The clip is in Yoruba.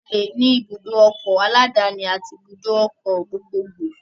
A le ní ibùdó ọkọ̀ aláàdáni àti ibùdó ọkọ̀ gbogbo gbò